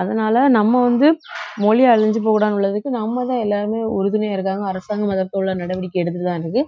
அதனால நம்ம வந்து மொழி அழிஞ்சு போகக்கூடாதுன்னு உள்ளதுக்கு நம்மதான் எல்லாருமே உறுதுணையா இருக்காங்க அரசாங்கம் அதை போல நடவடிக்கை எடுத்துதான் இருக்கு